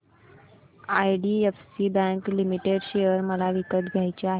IDFC bank limited share मला विकत घ्यायचे आहेत